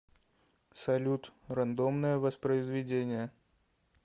салют рандомное воспроизведение